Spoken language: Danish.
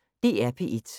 DR P1